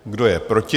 Kdo je proti?